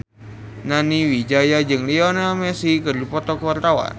Nani Wijaya jeung Lionel Messi keur dipoto ku wartawan